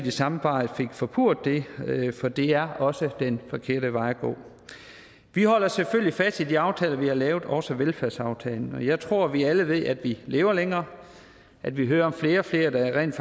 i samarbejde fik forpurret det for det er også den forkerte vej at gå vi holder selvfølgelig fast i de aftaler vi har lavet også i velfærdsaftalen og jeg tror at vi alle ved at vi lever længere at vi hører om flere og flere der rent